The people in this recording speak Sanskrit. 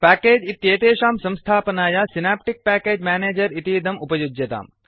प्याकेज इत्येतेषां संस्थापनाय सिनाप्टिक् प्याकेज् मेनेजर् इतीदम् उपयुज्यताम्